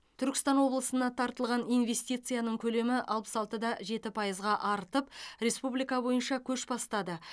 түркістан облысына тартылған инвестицияның көлемі алпыс алты да жеті пайызға артып республика бойынша көш бастады